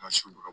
An ka so yɔrɔ